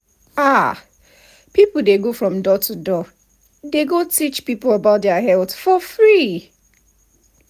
ah people dey go from door to door they go teach people about their health for free.